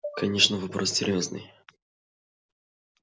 конечно вопрос серьёзный